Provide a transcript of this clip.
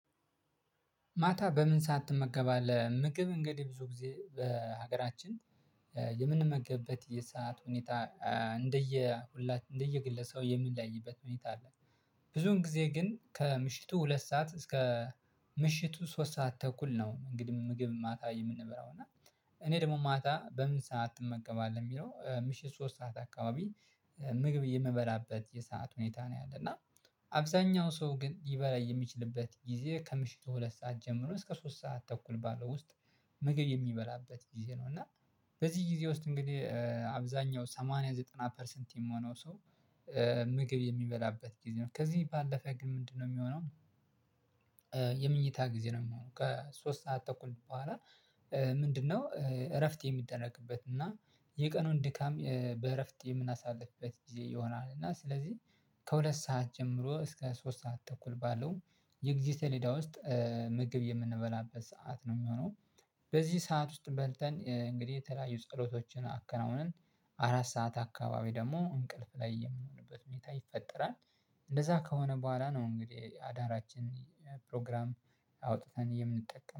ማታ በምን ሰዓት ትመገባለህ ምግብ እንግዲህ ብዙ ጊዜ በሀገራችን የምንመገበት የሰዓት ሁኔታ እንደየ ሁላችን እንደየ ግለሰብ የምንለያይበት ሁኔታ አለ። ብዙን ጊዜ ግን ከምሽቱ ሁለት ሰዓት እስከ ምሽቱ ሶስት ሰዓት ተኩል ነው። እንግዲህ ምግብ ማታ የምንበላው እና። እኔ ደግሞ ማታ በምን ሰዓት ትመገባለህ? የሚለው ምሽት ሶስት ሰዓት አካባቢ ምግብ የምበላበት የሰዓት ሁኔታ ነው ያለና። አብዛኛው ሰው ግን ሊበላ የሚችልበት ጊዜ ከምሽቱ ሁለት ሰዓት ጀምሮ እስከ ሶስት ሰዓት ተኩል ባለው ውስጥ ምግብ የሚበላበት ጊዜ ነው። እና በዚህ ጊዜ ውስጥ እንግዲህ አብዛኛው ሰማንያ ዘጠና ፐርሰንት የምሆነው ሰው ምግብ የሚበላበት ጊዜ ነው። ከዚህ ባለፈ ግን ምንድነው የሚሆነው? የመኝታ ጊዜ ነው የሚሆነው። ከሶስት ሰዓት ተኩል በኋላ ምንድነው? እረፍት የሚደረግበት እና የቀኑን ድካም በእረፍት የምናሳልፍበት ጊዜ ይሆናል። እና ስለዚህ ከሁለት ሰዓት ጀምሮ እስከ ሶስት ሰዓት ተኩል ባለው የጊዜ ሰሌዳ ውስጥ ምግብ የምንበላበት ሰዓት ነው የሚሆነው። በዚህ ሰዓት ውስጥ በልተን እንግዲህ የተለያዩ ጸሎቶችን አከናውንን። አራት ሰዓት አካባቢ ደግሞ እንቅልፍ ላይ የምንሆንበት ሁኔታ ይፈጠራል። እንደዛ ከሆነ በኋላ ነው እንግዲህ አዳራችን ፕሮግራም አውጥተን የምንጠቀመው